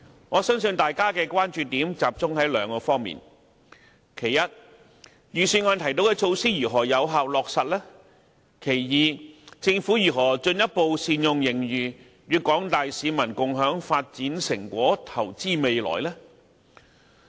我相信大家的關注點也集中於兩方面，第一，預算案提到的措施如何能夠有效落實；第二，政府如何進一步善用盈餘，與廣大市民共享發展成果，投資未來。